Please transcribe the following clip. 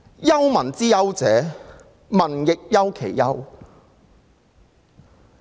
憂民之憂者，民亦憂其憂。